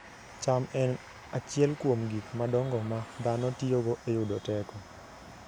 cham en achiel kuom gik madongo ma dhano tiyogo e yudo teko